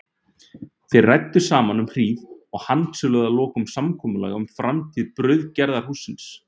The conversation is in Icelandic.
Þeir ræddu saman um hríð og handsöluðu að lokum samkomulag um framtíð brauðgerðarhússins.